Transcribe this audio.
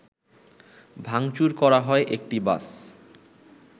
ভাংচুর করা হয় একটি বাস